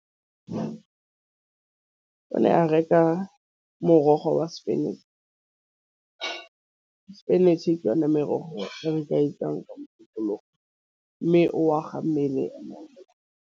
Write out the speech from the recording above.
O ne a reka morogo wa spanetšhi. Spinach ke yona merogo re ka ikakanyetsa poloko mme o aga mmele.